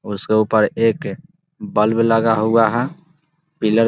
उसके ऊपर एक बल्ब लगा हुआ है पिलर --